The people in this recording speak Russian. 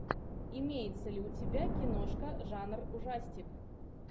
имеется ли у тебя киношка жанр ужастик